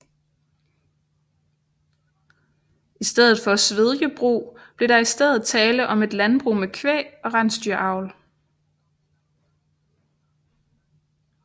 I stedet for svedjebrug blev der i stedet tale om et landbrug med kvæg og rensdyravl